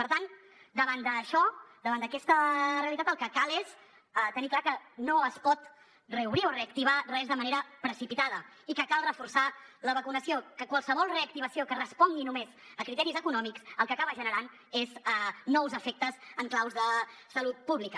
per tant davant d’això davant d’aquesta realitat el que cal és tenir clar que no es pot reobrir o reactivar res de manera precipitada i que cal reforçar la vacunació que qualsevol reactivació que respongui només a criteris econòmics el que acaba generant és nous efectes en claus de salut pública